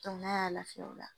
n'a y'a lafiya o la.